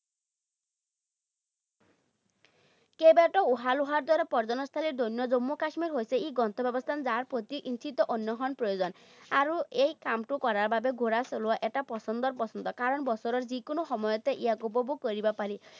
কেইবাটাও দৰে পৰ্য্যটনস্থলী ধন্য জম্মু কাশ্মীৰ হৈছে এক গন্তব্যস্থান, যাৰ প্ৰতি ইঞ্চিতে অন্বেষণ প্ৰয়োজন। আৰু এই কামটো কৰাৰ বাবে ঘোঁৰা চলোৱা এটা পছন্দৰ কাৰণ বছৰৰ যিকোনো সময়তে ইয়াক উপভোগ কৰিব পাৰি।